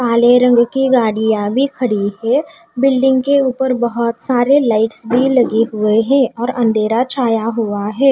काली रंग की गाड़िया भी खड़ी है बिल्डिंग के ऊपर बहुतसारे लाईट्स भी लगी हुयी है और अंधेरा छाया हुआ ह--